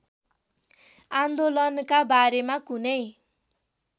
आन्दोलनका बारेमा कुनै